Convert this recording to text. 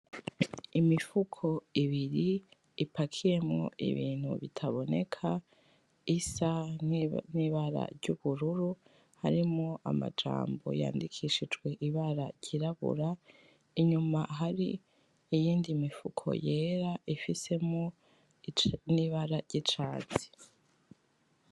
Imifuko ibiri , ipakiyemwo ibintu bitaboneka isa nibara ry'ubururu harimwo amajambo yandikishijijwe ibara ry'irabura inyuma hari iyindi mifuko yera ifisemwo nibara ry'icatsi.